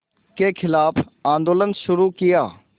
के ख़िलाफ़ आंदोलन शुरू किया